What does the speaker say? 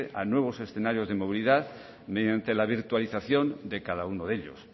a nuevos escenarios de movilidad mediante la virtualización de cada uno de ellos